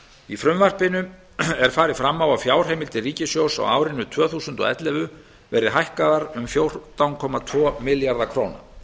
í frumvarpinu er farið fram á að fjárheimildir ríkissjóðs á árinu tvö þúsund og ellefu verði hækkaðar um fjórtán komma tvo milljarða króna